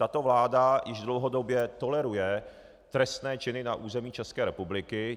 Tato vláda již dlouhodobě toleruje trestné činy na území České republiky.